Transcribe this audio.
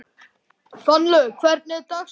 Fannlaug, hvernig er dagskráin?